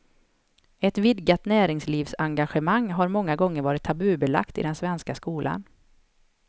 Ett vidgat näringslivsengagemang har många gånger varit tabubelagt i den svenska skolan.